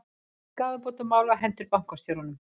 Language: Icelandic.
Skaðabótamál á hendur bankastjórum